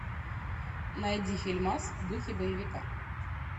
найди фильмас в духе боевика